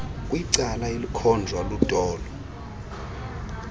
kwicala elikhonjwa lutolo